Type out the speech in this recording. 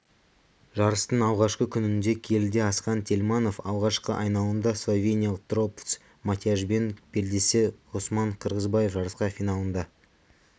жарыстың алғашқы күнінде келіде асхат тельманов алғашқы айналымда словениялық трбовц матьяжбен белдессе ғұсман қырғызбаев жарысқа финалында